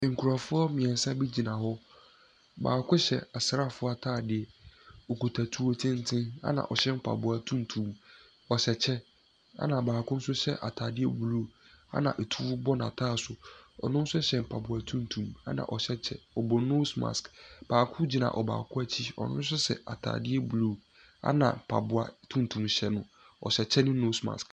Nkorɔfoɔ miensa bi gyina baako hyɛ asraafoɔ ataadeɛ, ɔkita tuo tenten ɛna ɔhyɛ mpaboa tunutum. Ɔhyɛ kyɛ ɛna baako nso hyɛ ataade bluu ɛna ɛtuo bɔ na ataaso, ɔno nso hyɛ mpaboa tunutum ɛna ɔhyɛ kyɛ, ɔbɔ noos maske. Baako gyina ɔbaako akyi ɔno nso hyɛ ataadeɛ bluu ɛna mpaboa tunutum hyɛ no, ɔhyɛ kyɛ ne noos maske.